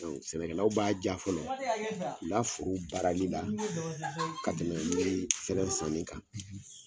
Ɔ Sɛnɛkɛlaw b'a ja fɔlɔ ula forow baarali la ka tɛmɛ yiri sɛnɛ sanni kan